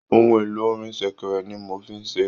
Ohun èlò orin sẹ̀kẹ̀rẹ̀ ni mo n fí ṣeré.